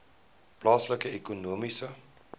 plaaslike ekonomiese